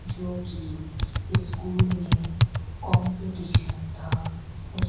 जोकि स्कूल में कंपटीशन था--